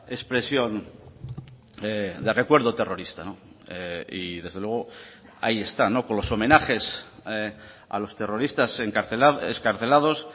expresión de recuerdo terrorista y desde luego ahí está con los homenajes a los terroristas excarcelados